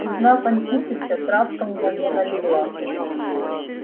узнав антипыча травка мгновенно легла